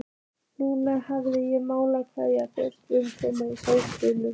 Núna hefði ég mátt kveðja, barnlaus kona í skógi.